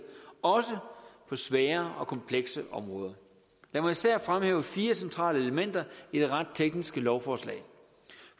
også på svære og komplekse områder lad mig især fremhæve fire centrale elementer i det ret tekniske lovforslag